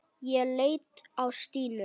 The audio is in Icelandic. Ég leit á Stínu.